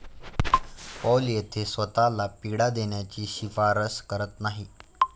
पौल येथे स्वतःला पीडा देण्याची शिफारस करत नाही.